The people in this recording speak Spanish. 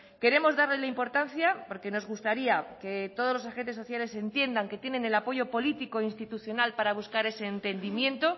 queremos darle la importancia porque nos gustaría que todos los agente sociales entiendan que tienen el apoyo político institucional para buscar ese entendimiento